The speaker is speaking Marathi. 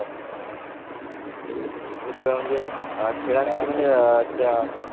हौ घरी म्हणजे